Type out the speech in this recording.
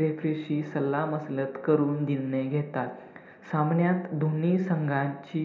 Refree शी सलाह मसलत करून निर्णय घेतात. सामन्यात दोन्ही संघांची